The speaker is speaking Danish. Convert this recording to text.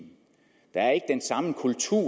der er ikke den samme kultur